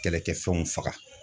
Kɛlɛkɛfɛnw faga.